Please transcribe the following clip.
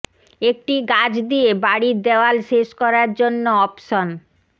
একটি গাছ দিয়ে বাড়ির দেয়াল শেষ করার জন্য অপশন